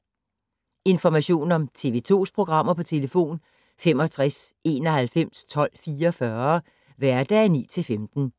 Information om TV 2's programmer: 65 91 12 44, hverdage 9-15.